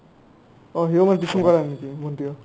অ সিও মানে tuition কৰা নাই নেকি ভন্টিও